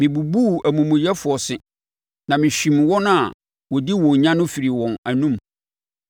Mebubuu amumuyɛfoɔ se na mehwim wɔn a wɔdi wɔn nya no firii wɔn anom.